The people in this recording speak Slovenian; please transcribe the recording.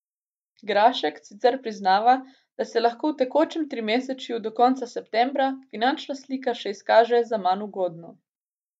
Grašek sicer priznava, da se lahko v tekočem trimesečju, do konca septembra, finančna slika še izkaže za manj ugodno.